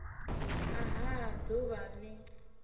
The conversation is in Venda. a ha d uvha l